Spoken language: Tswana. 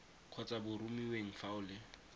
kgotsa boromiweng fa o le